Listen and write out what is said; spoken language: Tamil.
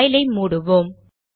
பைல் ஐ மூடுவோம்